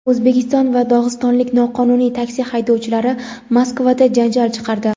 O‘zbekiston va dog‘istonlik noqonuniy taksi haydovchilari Moskvada janjal chiqardi.